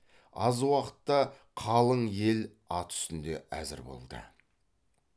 аз уақытта қалың ел ат үстінде әзір болды